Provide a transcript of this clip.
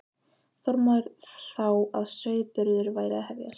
Þormóður þá að sauðburður væri að hefjast.